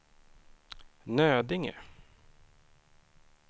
Nödinge